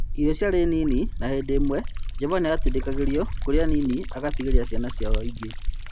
Irio ciarĩ nini na hĩndĩ ĩmwe Jovani atindĩkagĩrĩo kũrĩa nini agatigĩria ciana icio ingĩ.